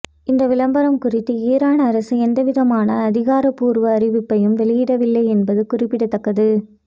இந்த விளம்பரம் குறித்து ஈரான் அரசு எந்தவிதமான அதிகாரப்பூர்வ அறிவிப்பையும் வெளியிடவில்லை என்பது குறிப்பிடத்தக்கது